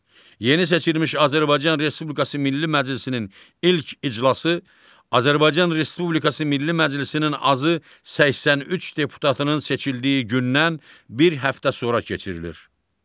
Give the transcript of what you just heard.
Yeni seçilmiş Azərbaycan Respublikası Milli Məclisinin ilk iclası Azərbaycan Respublikası Milli Məclisinin azı 83 deputatının seçildiyi gündən bir həftə sonra keçirilir.